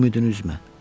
Ümidini üzmə.